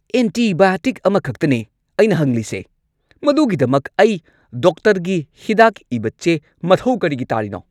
Antibiotic ꯑꯃꯈꯛꯇꯅꯦ ꯑꯩꯅ ꯍꯪꯂꯤꯁꯦ! ꯃꯗꯨꯒꯤꯗꯃꯛ ꯑꯩ ꯗꯣꯛꯇꯔꯒꯤ ꯍꯤꯗꯥꯛ ꯏꯕ ꯆꯦ ꯃꯊꯧ ꯀꯔꯤꯒꯤ ꯇꯥꯔꯤꯅꯣ?